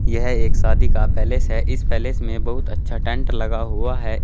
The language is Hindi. यह एक शादी का पैलेस हैं इस पैलेस में बहुत अच्छा टेंट लगा हुआ है।